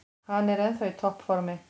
Hann er ennþá í topp formi.